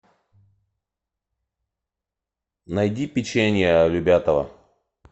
найди печенье любятово